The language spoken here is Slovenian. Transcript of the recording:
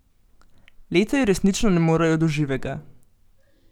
Leta ji resnično ne morejo do živega.